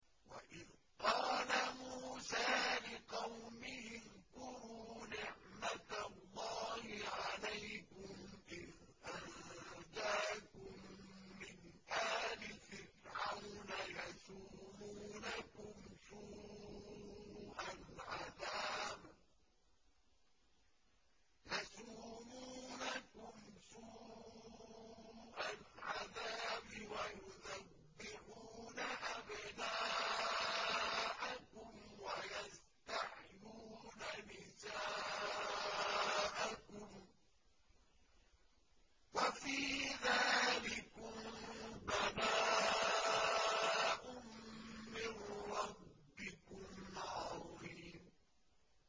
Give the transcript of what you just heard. وَإِذْ قَالَ مُوسَىٰ لِقَوْمِهِ اذْكُرُوا نِعْمَةَ اللَّهِ عَلَيْكُمْ إِذْ أَنجَاكُم مِّنْ آلِ فِرْعَوْنَ يَسُومُونَكُمْ سُوءَ الْعَذَابِ وَيُذَبِّحُونَ أَبْنَاءَكُمْ وَيَسْتَحْيُونَ نِسَاءَكُمْ ۚ وَفِي ذَٰلِكُم بَلَاءٌ مِّن رَّبِّكُمْ عَظِيمٌ